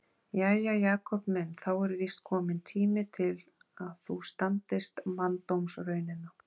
Jæja, Jakob minn, þá er víst kominn tími til að þú standist manndómsraunina.